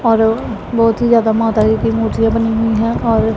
और बहोत ही जादा माता जी की मूर्तियां बनी हुई हैं और--